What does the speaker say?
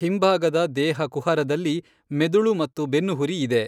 ಹಿಂಭಾಗದ ದೇಹ ಕುಹರದಲ್ಲಿ ಮೆದುಳು ಮತ್ತು ಬೆನ್ನುಹುರಿ ಇದೆ.